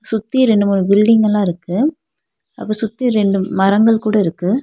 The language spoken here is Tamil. சுத்தி ரெண்டு மூணு பில்டிங்கலா இருக்கு அப்ப சுத்தி ரெண்டு மரங்கள் கூட இருக்கு.